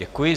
Děkuji.